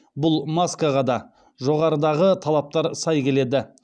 бұл маскаға да жоғарыдағы талаптар сай келеді